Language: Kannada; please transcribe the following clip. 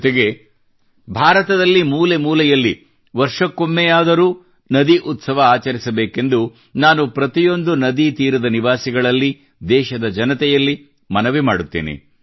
ಜೊತೆಗೆ ಭಾರತದಲ್ಲಿ ಮೂಲೆಮೂಲೆಯಲ್ಲಿ ವರ್ಷಕ್ಕೊಮ್ಮೆಯಾದರೂ ನದಿ ಉತ್ಸವ ಆಚರಿಸಬೇಕೆಂದು ನಾನು ಪ್ರತಿಯೊಂದು ನದಿ ತೀರದ ನಿವಾಸಿಗಳಲ್ಲಿ ದೇಶದ ಜನತೆಯಲ್ಲಿ ಮನವಿ ಮಾಡುತ್ತೇನೆ